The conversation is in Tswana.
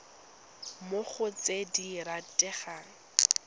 mo go tse di rategang